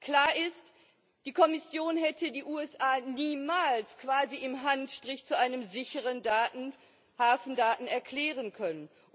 Klar ist Die Kommission hätte die USA niemals quasi im Handstreich zu einem sicheren Datenhafen erklären können.